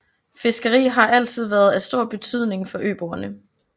Fiskeri har altid været af stor betydning for øboerne